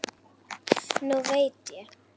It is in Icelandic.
Nú veit ég.